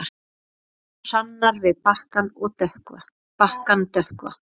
Ljóða hrannir við bakkann dökkva.